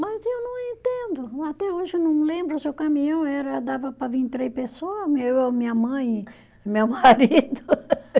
Mas eu não entendo, até hoje eu não lembro se o caminhão era, dava para vir três pessoas, eu, minha mãe e meu marido.